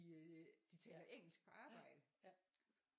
De taler engelsk på arbejde